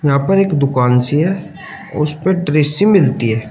यहां पर एक दुकान सी है उस पर ड्रेसे मिलती हैं।